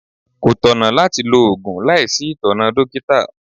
Kò tọ̀nà láti lo Ògùn láìsí itona dókítà.